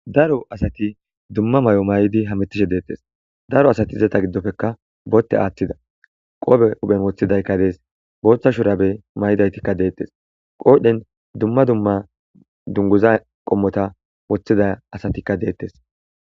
Daro asati dumma may7o may7idi hametishe deettes daro asati izata giddofekka bootte aaththida qoobe huphen woththidaykka dees booththa shurabe may7idaytikka deettes qoodhen dumma dumma dunguza qommota woththida asatikka deettes